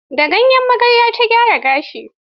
Da gayyen magarya ta gyara gashinta.